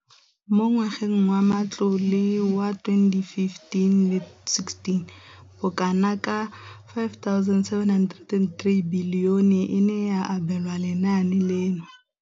Mo ngwageng wa matlole wa 2015,16, bokanaka R5 703 bilione e ne ya abelwa lenaane leno.